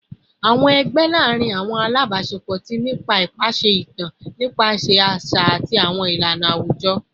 Awọn ẹgbẹ laarin awọn alabaṣepọ ti ni ipa nipasẹ itan nipasẹ aṣa ati awọn ilana awujọ